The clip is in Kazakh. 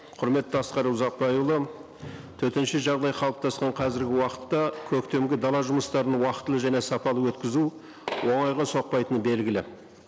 құрметті асқар ұзақбайұлы төтенше жағдай қалыптасқан қазіргі уақытта көктемгі дала жұмыстарының уақытылы және сапалы өткізу оңайға соқпайтыны белгілі